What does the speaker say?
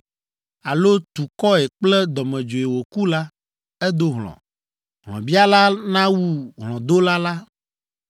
alo tu kɔe kple dɔmedzoe wòku la, edo hlɔ̃. Hlɔ̃biala nawu hlɔ̃dola la.